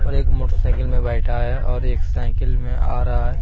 और एक मोटरसाइकिल में बैठा है और एक साइकिल में आ रहा है।